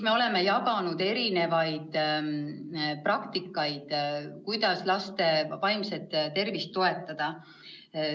Me oleme jaganud erinevaid praktikaid, kuidas laste vaimset tervist toetada.